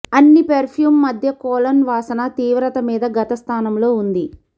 అన్ని పెర్ఫ్యూం మధ్య కొలోన్ వాసన తీవ్రత మీద గత స్థానంలో ఉంది